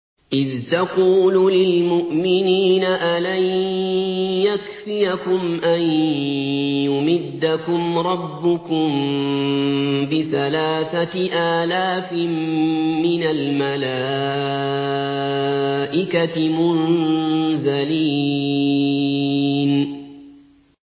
إِذْ تَقُولُ لِلْمُؤْمِنِينَ أَلَن يَكْفِيَكُمْ أَن يُمِدَّكُمْ رَبُّكُم بِثَلَاثَةِ آلَافٍ مِّنَ الْمَلَائِكَةِ مُنزَلِينَ